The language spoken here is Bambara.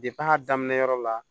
a daminɛyɔrɔ la